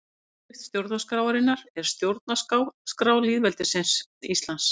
Yfirskrift stjórnarskrárinnar er Stjórnarskrá lýðveldisins Íslands.